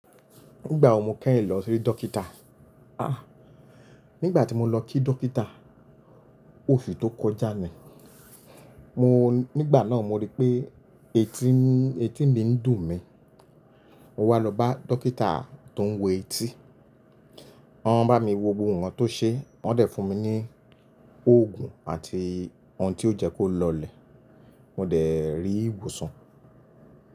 Nígbà wo mo kẹ́yìn lọ sí dókítà? Ah! Nígbà tí mo lọ kí dókítà, oṣù tó kọjá ni. Mo nígbà náà mo rí pé etí mi ń dùn mí. Mo wá lọ bá dókítà tó ń wo etí. Wọ́n bá mi wo ohun tó ṣe, wọ́n dẹ̀ fún mi ní oògùn àti ohun tí ó jẹ́ kó lọlẹ̀. Mó dẹ̀ rí ìwòsàn.